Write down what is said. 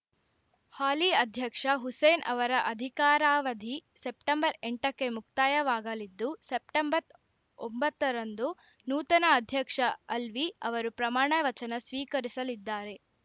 ಹಾಲಿ ಅಧ್ಯಕ್ಷ ಹುಸೇನ್‌ ಅವರ ಅಧಿಕಾರಾವಧಿ ಸೆಪ್ಟೆಂಬರ್ ಎಂಟಕ್ಕೆ ಮುಕ್ತಾಯವಾಗಲಿದ್ದು ಸೆಪ್ಟೆಂಬರ್ ಒಂಬತ್ತರಂದು ನೂತನ ಅಧ್ಯಕ್ಷ ಅಲ್ವಿ ಅವರು ಪ್ರಮಾಣ ವಚನ ಸ್ವೀಕರಿಸಲಿದ್ದಾರೆ